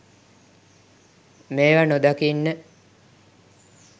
මේව නොදකින්න